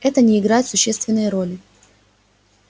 это не играет существенной роли